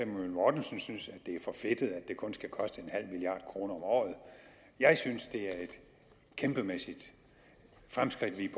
mortensen synes at det er for fedtet at det kun skal koste en halv milliard kroner om året jeg synes at det er et kæmpemæssigt fremskridt vi